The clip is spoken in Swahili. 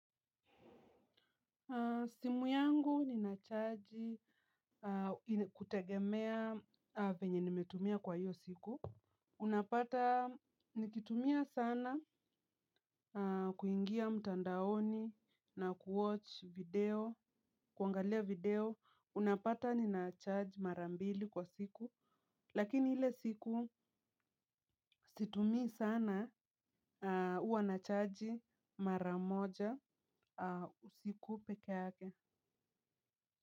Simu yangu ninacharge kutegemea venye nimetumia kwa hiyo siku. Unapata nikitumia sana kuingia mtandaoni na kuangalia video. Unapata ninacharge marambili kwa siku. Lakini hile siku situmi sana uanacharge maramoja usiku pekeake.